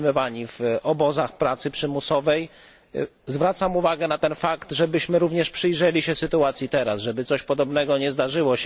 Przetrzymywano ich w obozach pracy przymusowej. Zwracam uwagę na ten fakt, żebyśmy również przyjrzeli się tej sytuacji teraz, żeby coś podobnego się nie zdarzyło.